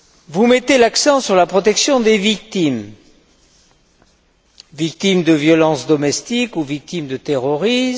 Vous mettez l'accent sur la protection des victimes victimes de violences domestiques ou victimes de terrorisme.